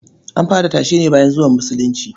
An fara tashe ne bayan zuwan Musulunci.